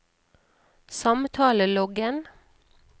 samtaleloggen